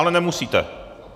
Ale nemusíte.